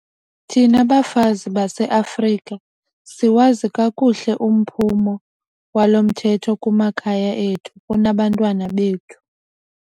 Thina bafazi baseAfrika siwazi kakuhle umphumo walo mthetho kumakhaya ethu, kubantwana bethu.